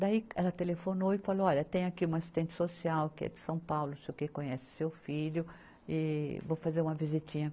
Daí ela telefonou e falou, olha, tem aqui uma assistente social que é de São Paulo, sei o quê, conhece seu filho, e vou fazer uma visitinha.